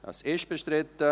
– Es ist bestritten.